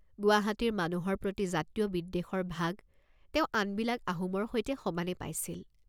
গুৱাহাটীৰ মানুহৰ প্ৰতি জাতীয় বিদ্বেষৰ ভাগ তেওঁ আনবিলাক আহোমৰ সৈতে সমানে পাইছিল।